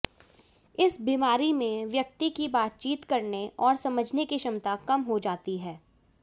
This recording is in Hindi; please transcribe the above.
इस बीमारी में व्यक्ति की बातचीत करने और समझने की क्षमता कम हो जाती है